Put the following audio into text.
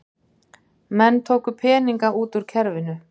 Menn tóku peninga út úr kerfinu